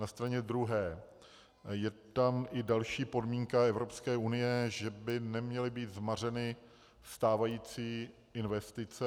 Na straně druhé je tam i další podmínka Evropské unie, že by neměly být zmařeny stávající investice.